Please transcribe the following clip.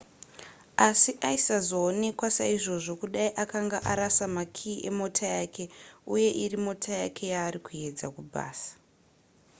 asi aisazoonekwa saizvozvo kudai akanga arasa makiyi emota yake uye iri mota yake yaari kuedza kupaza